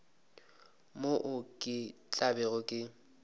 moo ke tla bego ke